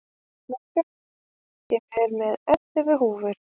Snæbjört, ég kom með ellefu húfur!